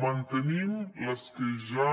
mantenim les que ja